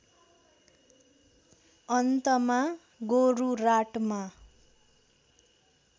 अन्तमा गोरुराटमा